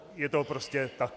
Je to prostě tak.